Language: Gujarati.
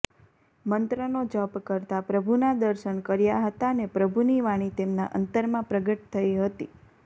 મંત્રનો જપ કરતાં પ્રભુનાં દર્શન કર્યા હતા ને પ્રભુની વાણી તેમના અંતરમાં પ્રગટ થઈ હતી